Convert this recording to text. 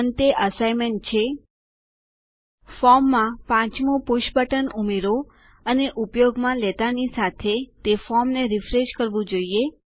અંતે અસાઇનમેન્ટ છે ફોર્મમાં ચારની બાજુમાં પાંચમું પુષ બટન ઉમેરો અને ઉપયોગમાં લેંતાનીસાથે તે ફોર્મને રીફ્રેશ કરવું જોઈએ